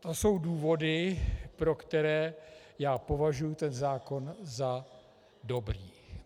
To jsou důvody, pro které já považuji ten zákon za dobrý.